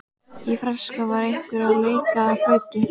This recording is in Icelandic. Í fjarska var einhver að leika á flautu.